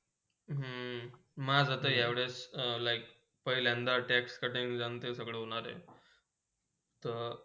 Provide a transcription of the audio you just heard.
हम्म मंग या वेळी like पहिल्ंदया tax cutting जण ते सगले होणार हाय. त